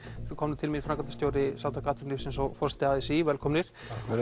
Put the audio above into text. eru komnir til mín framkvæmdarstjóri Samtaka atvinnulífsins og forseti a s í velkomnir